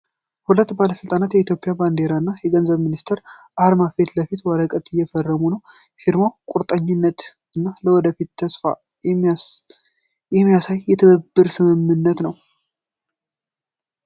ሁለት ባለሥልጣናት የኢትዮጵያ ባንዲራ እና የገንዘብ ሚኒስቴር አርማ ፊት ለፊት ወረቀት እየፈረሙ ነው። ፊርማው **ቁርጠኝነትን** እና ለወደፊት **ተስፋን** የሚያሳይ የትብብር ስምምነት ነው።